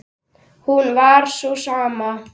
hún var sú sama.